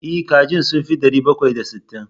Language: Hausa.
E, kajin sun fi ɗari bakwai da sittin.